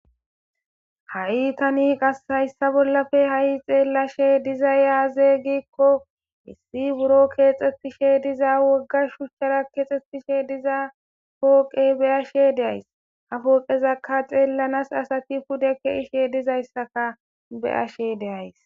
Ha'i tani hayissa bolla xelashe dizayi aze gikko hai buro kexetishe dizza wogga shuchara kexetishe diza poqqe beashe deyisi. Ha poqqeza xellanasi assayi pude keishe de'eyisa be'ayisi.